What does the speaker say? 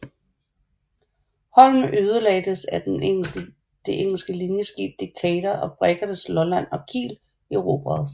Holm ødelagdes af det engelske linjeskib Dictator og briggerne Lolland og Kiel erobredes